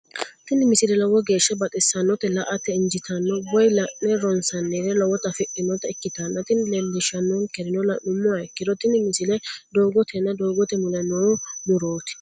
tini misile lowo geeshsha baxissannote la"ate injiitanno woy la'ne ronsannire lowote afidhinota ikkitanna tini leellishshannonkeri la'nummoha ikkiro tini misile doogotenna doogote mule no murooti.